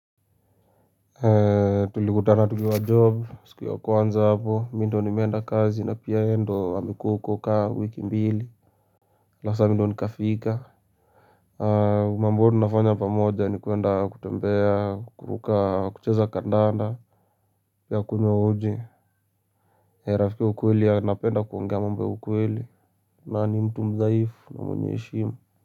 Tulikutana tukiwa job, siku ya kwanza hapo, mi ndo nimeenda kazi na pia ye ndo amekuwa huko ka wiki mbili sasa mi ndo ni kafika mambo huwa tunafanya pamoja ni kuenda kutembea, kuruka, kucheza kandanda. Pia kunywa uji rafiki wa ukweli anapenda kuongea mambo ya ukweli. Na ni mtu mdhaifu na mwenye heshima.